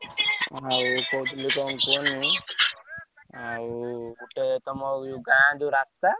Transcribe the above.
ଆଉ ମୁଁ କଣ କହୁଥିଲି କୁହନି। ଆଉ ଗୋଟେ ତମ ଗାଁ ଯୋଉ ରା ସ୍ତା~।